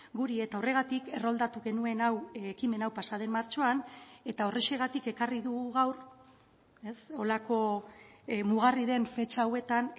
guri eta horregatik erroldatu genuen hau ekimen hau pasa den martxoan eta horrexegatik ekarri dugu gaur holako mugarri den fetxa hauetan